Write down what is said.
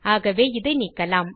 ஆகவே இதை நீக்கலாம்